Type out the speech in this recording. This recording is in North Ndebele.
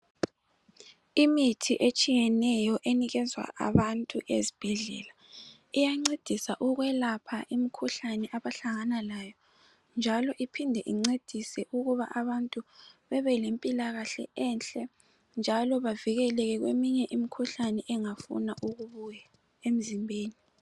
Imithi etshiyeneyo ephiwa abantu ezibhedlela iyancedisa ukwelapha imikhuhlane abahlangana layo njalo iphinde incedise ukuba abantu bebe lempilakahle enhle njalo bavikeleke kweminye imikhuhlane engafuna ukubuya emzimbeni.